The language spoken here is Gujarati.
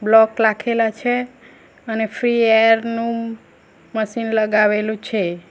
બ્લોક લાખેલા છે અને ફ્રી એર નું મશીન લગાવેલું છે.